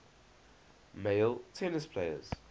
male tennis players